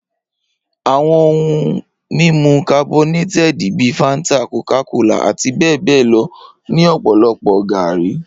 Awọn ohun mimu carbonated bi fanta, Coca-Cola, ati bẹbẹ lọ ni ọpọlọpọ gaari.